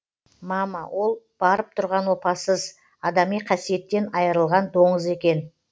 мама ол барып тұрған опасыз адами қасиеттен айырылған доңыз екен